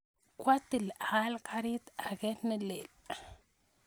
Kwatil aal karit ake ne lel